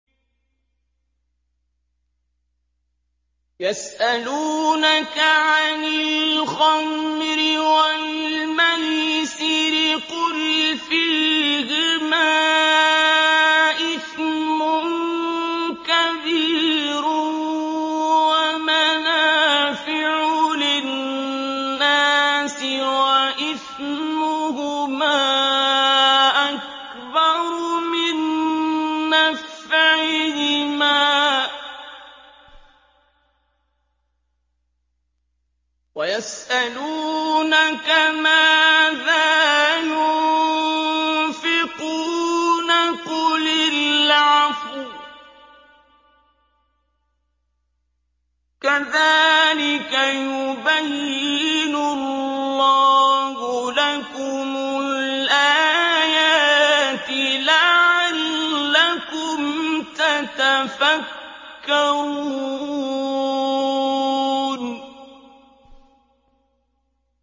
۞ يَسْأَلُونَكَ عَنِ الْخَمْرِ وَالْمَيْسِرِ ۖ قُلْ فِيهِمَا إِثْمٌ كَبِيرٌ وَمَنَافِعُ لِلنَّاسِ وَإِثْمُهُمَا أَكْبَرُ مِن نَّفْعِهِمَا ۗ وَيَسْأَلُونَكَ مَاذَا يُنفِقُونَ قُلِ الْعَفْوَ ۗ كَذَٰلِكَ يُبَيِّنُ اللَّهُ لَكُمُ الْآيَاتِ لَعَلَّكُمْ تَتَفَكَّرُونَ